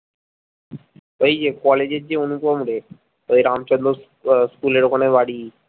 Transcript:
ওই যে কলেজের যে অনুপম রে ওই রামচন্দ্র আহ স্কুলের ওখানে বাড়ি